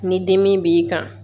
Ni dimi b'i kan